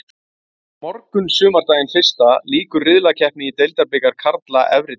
Á morgun sumardaginn fyrsta lýkur riðlakeppni í deildabikar karla efri deild.